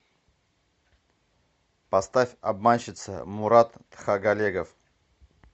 поставь обманщица мурат тхагалегов